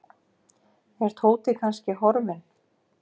Er Tóti kannski horfinn?